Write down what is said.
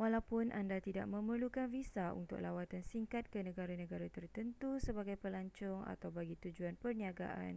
walaupun anda tidak memerlukan visa untuk lawatan singkat ke negara-negara tertentu sebagai pelancong atau bagi tujuan perniagaan